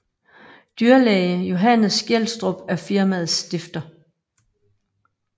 Dyrlæge Johannes Gjelstrup er firmaets stifter